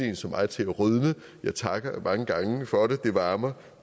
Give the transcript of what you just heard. en som mig til at rødme jeg takker mange gange for det det varmer